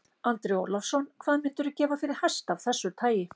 Andri Ólafsson: Hvað myndirðu gefa fyrir hest af þessu tagi?